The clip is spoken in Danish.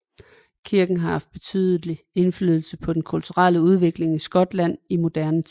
Kirken har haft betydelig indflydelse på den kulturelle udvikling i Skotland i moderne tid